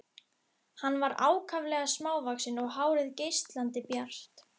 Hann var ákaflega hávaxinn og hárið geislandi bjart.